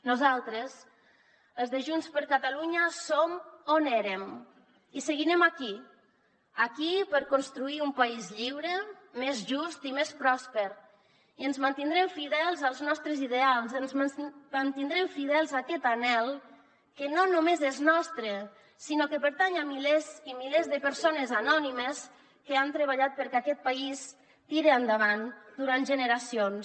nosaltres els de junts per catalunya som on érem i seguirem aquí aquí per construir un país lliure més just i més pròsper i ens mantindrem fidels als nostres ideals ens mantindrem fidels a aquest anhel que no només és nostre sinó que pertany a milers i milers de persones anònimes que han treballat perquè aquest país tire endavant durant generacions